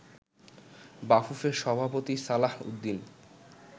বাফুফে সভাপতি সালাহ উদ্দিন